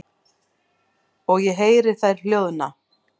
Og ég heyri þær hljóðna.